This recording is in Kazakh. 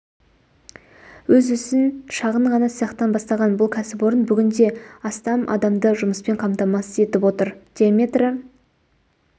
өз ісін шағын ғана цехтан бастаған бұл кәсіпорын бүгінде астам адамды жұмыспен қамтамасыз етіп отыр диаметрі